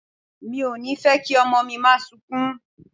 Mi ò ní fẹ́ kí ọmọ mi máa sunkún.